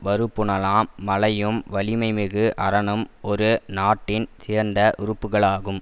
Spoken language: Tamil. வருபுனலாம் மழையும் வலிமைமிகு அரணும் ஒரு நாட்டின் சிறந்த உறுப்புகளாகும்